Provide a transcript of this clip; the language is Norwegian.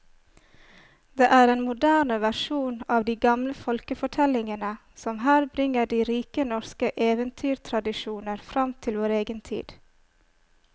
Det er en moderne versjon av de gamle folkefortellingene som her bringer de rike norske eventyrtradisjoner fram til vår egen tid.